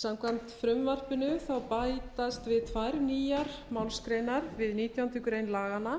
samkvæmt frumvarpinu þá bætast við tvær nýjar málsgreinar við nítjándu grein laganna